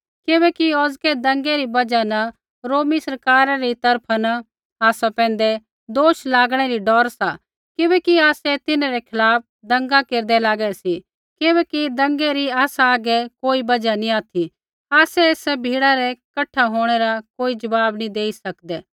किबैकि औज़कै दंगै री बजहा न रोमी सरकारा री तरफा न आसा पैंधै दोष लागणै री डौर सा किबैकि आसै तिन्हरै खिलाफ़ दंगा केरदै लागै सी किबैकि दंगै री आसा हागै कोई बजहा नी ऑथि आसै एसा भीड़ै रै कठा होंणै रा कोई ज़वाब नी देई सकदै